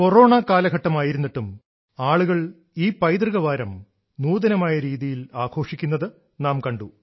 corona കാലഘട്ടം ആയിരുന്നിട്ടും ആളുകൾ ഈ പൈതൃക വാരം നൂതനമായ രീതിയിൽ ആഘോഷിക്കുന്നത് നാം കണ്ടു